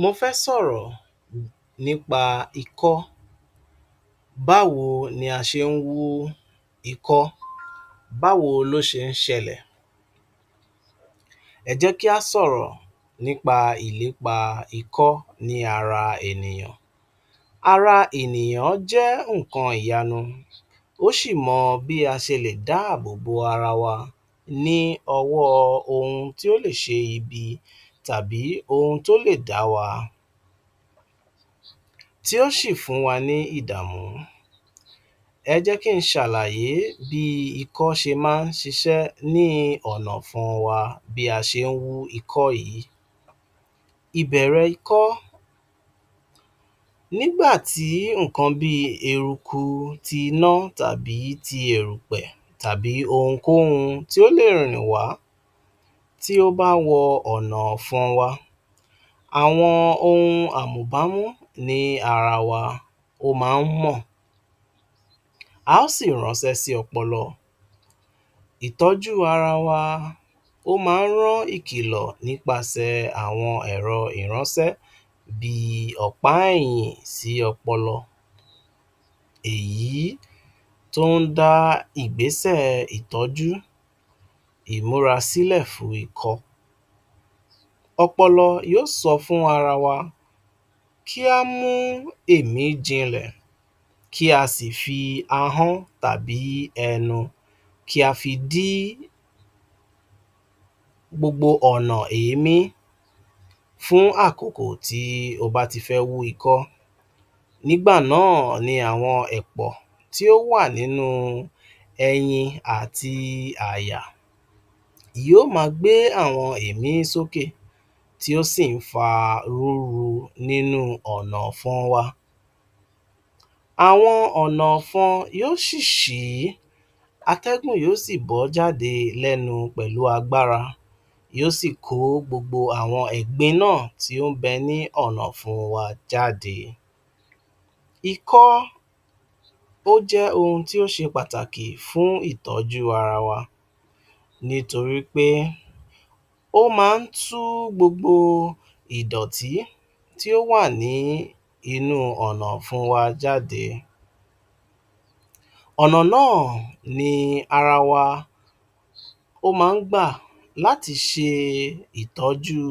Mofẹ́ sọ̀rọ̀ nípa ikọ́. Báwo ni a ṣe nhú ikọ́ Báwo lo ṣe nṣẹ́lẹ̀ Ẹ jẹ́ kí a sọ̀rọ̀, nípa ìlépa ikọ́ ni ara ènìyàn. Ara ènìyàn jẹ́ nkan ìyanu. O ṣì mọ bi a ṣe lè dábòbò ara wa ní ọwọ́ oun tí ó lè ṣe ibi tàbí oun tí ó lè dáwa, tí ó sì fúnwa ni idamu. Ẹ jẹ́ kí n ṣàlàyé bi ikọ́ ṣe má n sisẹ́ ni ọ̀nà ọ̀fun wa bí a ṣe nhú ikọ́ yìí. ÌBẸ̀RẸ̀ IKỌ́ Ní gbà tí nkan bíi eruku ti iná tàbí ti érùpẹ̀, tàbí ohunkóhun tí ó lè rìn wá tí ó bá wọ ọ̀nà ọ̀fun wa, àwọn ohun àmùbámú ni ara wa, ó ma n mọ̀. A ó sì ránsẹ́ sí ọpọlọ. Ìtọ́jú ara wa, ó ma n ró ìkìlọ̀ nípa sẹ̀ àwon ẹ̀rọ ìránsẹ́ bíi ọ̀pá ẹ̀yìn sí ọpọlọ. È yí tóndá ìgbésẹ̀ ìtọ́jú ìmúrasílẹ̀ fún ikọ́. Ọpọlọ yósọ fún ara wa, kí ámú èmíí jínlẹ̀, kí á sì fi ahọ́n tàbí enu, kí á fi dí gbogbo ọ̀nọ̀ èémí fún àkókò tí o bá ti fẹ́ wu ikọ́. Nígbà náà ni àwon ẹ̀pọ̀ tí ó wa ninu ẹyin àti àyà yio mà gbe àwọn èémí sókè, tí ó sì nfa rúru nínú ọ̀nà ọ̀fun wa. Àwọn ọ̀nà ọ̀fun yíò sí si atẹ́gùn yio ṣi bọ jáde lẹ́nu pẹ̀lú agbára. Yíò ṣì ko gbogbo àwọn ẹ̀gbin naa tí on bẹ ni ọ̀nọ̀ ọ̀fun wa jáde. Ikọ́, o jẹ́ oun tí ó ṣe pàtàkì fún ìtọ́jú ara wa. Ní torípé ó ma n tú gbogbo ìdọ̀tí tí ò wà ní inú ọ̀nọ̀ ọ̀fún wa jáde. Ọ̀nọ̀ naa ní ara wa, Ó ma ngbà láti ṣe ìtọ́jú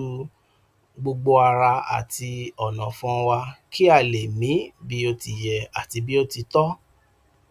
gbogbo ara àti ọ̀na ọ̀fún wa kí á lè mí bí ó ti yẹ àti bí ó ti tọ́.